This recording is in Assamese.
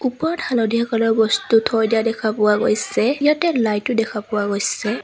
ওপৰত হালধীয়া কালাৰ বস্তু থৈ দিয়া দেখা পোৱা গৈছে ইয়াত লাইট ও দেখা পোৱা গৈছে।